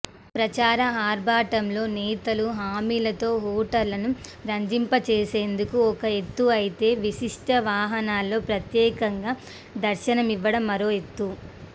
ప్రచార ఆర్భాటంలో నేతలు హామీలతో ఓటర్లను రంజింపజేసేందుకు ఒక ఎత్తు అయితే విశిష్ఠ వాహనాల్లో ప్రత్యేకంగా దర్శనమివ్వడం మరో ఎత్తు